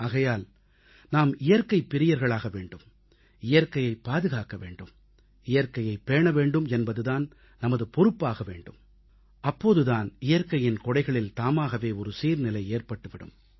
ஆகையால் நாம் இயற்கைப் பிரியர்களாக வேண்டும் இயற்கையைப் பாதுகாக்க வேண்டும் இயற்கையைப் பேண வேண்டும் என்பது நமது பொறுப்பாக ஆக வேண்டும் அப்போதுதான் இயற்கையின் கொடைகளில் தாமாகவே ஒரு சீர்நிலை ஏற்பட்டு விடும்